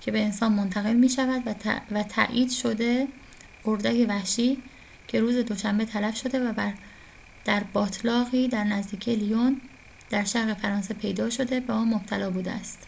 که به انسان منتقل می‌شود، و تایید شده اردک وحشی که روز دوشنبه تلف شده و در باتلاقی در نزدیکی لیون در شرق فرانسه پیدا شده، به آن مبتلا بوده است